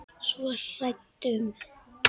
Svo hrædd um.